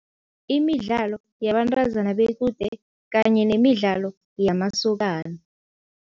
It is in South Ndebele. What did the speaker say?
Imidlalo yabantazana bequde kanye nemidlalo yamasokana.